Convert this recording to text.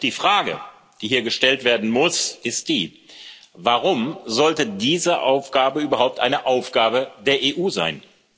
Doch die Frage, die hier gestellt werden muss, ist die Warum sollte diese Aufgabe überhaupt eine Aufgabe der EU sein?